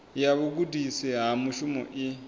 ya vhugudisi ha mushumo i